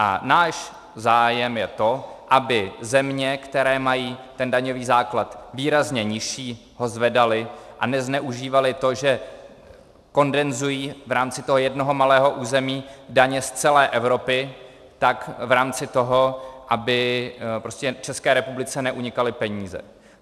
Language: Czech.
A náš zájem je to, aby země, které mají ten daňový základ výrazně nižší, ho zvedaly a nezneužívaly to, že kondenzují v rámci toho jednoho malého území daně z celé Evropy, tak v rámci toho, aby prostě České republice neunikaly peníze.